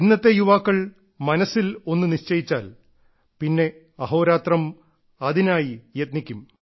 ഇന്നത്തെ യുവാക്കൾ മനസ്സിൽ ഒന്ന് നിശ്ചയിച്ചാൽ പിന്നെ അഹോരാത്രം അതിനായി യത്നിക്കും